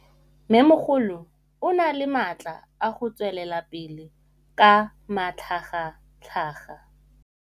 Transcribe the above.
Mmêmogolo o na le matla a go tswelela pele ka matlhagatlhaga.